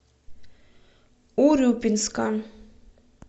урюпинска